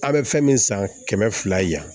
A' bɛ fɛn min san kɛmɛ fila ye